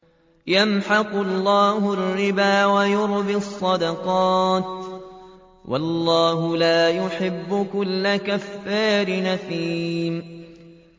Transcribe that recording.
يَمْحَقُ اللَّهُ الرِّبَا وَيُرْبِي الصَّدَقَاتِ ۗ وَاللَّهُ لَا يُحِبُّ كُلَّ كَفَّارٍ أَثِيمٍ